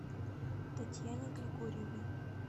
татьяне григорьевой